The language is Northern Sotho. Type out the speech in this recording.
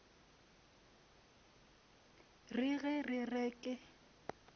re ge re re ke